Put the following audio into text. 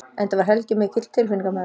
Enda var Helgi mikill tilfinningamaður.